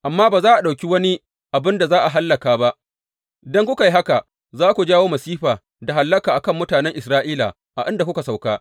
Amma, ba za ku ɗauki wani abin da za a hallaka ba, idan kuka yi haka, za ku jawo masifa da hallaka a kan mutanen Isra’ila a inda kuka sauka.